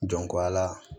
Dɔnku a la